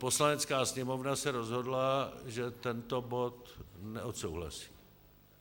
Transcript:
Poslanecká sněmovna se rozhodla, že tento bod neodsouhlasí.